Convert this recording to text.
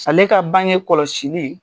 Ale ka bange kɔlɔsili.